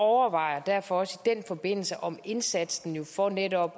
overvejer derfor også i den forbindelse om indsatsen for netop